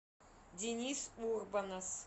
денис урбанас